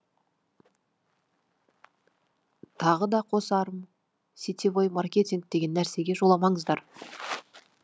тағы да қосарым сетевой маркетинг деген нәрсеге жоламаңыздар